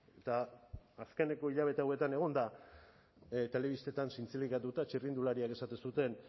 eta azkeneko hilabete hauetan egon da telebistetan zintzilikatuta txirrindulariak esaten zuten